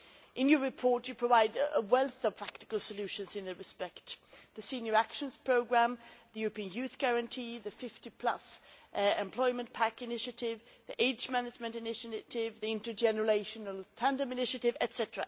In your report, you provide a wealth of practical solutions in this respect the Senior Actions Programme, the European Youth Guarantee, the Fifty plus employment pack initiative, the Age Management Initiative, the Intergenerational Tandem Initiative, etc.